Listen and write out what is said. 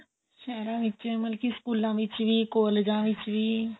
ਸਹਿਰਾਂ ਵਿੱਚ ਮਤਲਬ ਸਕੂਲਾਂ ਵਿੱਚ ਵੀ ਕਾਲਜਾਂ ਵਿੱਚ ਵੀ